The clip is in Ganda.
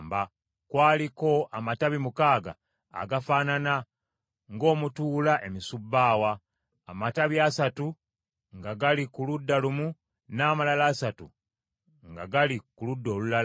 Kwaliko amatabi mukaaga agafaanana ng’omutuula emisubbaawa; amatabi asatu nga gali ku ludda lumu n’amalala asatu nga gali ku ludda olulala.